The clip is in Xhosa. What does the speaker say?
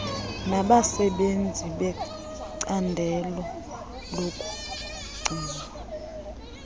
nabasenzi becandelo lokugcinwa